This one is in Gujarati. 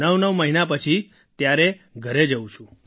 ૮૯ મહિના પછી ત્યારે ઘર જઉં છું